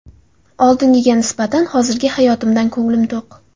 Oldingiga nisbatan hozirgi hayotimdan ko‘nglim to‘q.